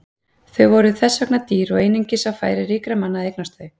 Þau voru þess vegna dýr og einungis á færi ríkra manna að eignast þau.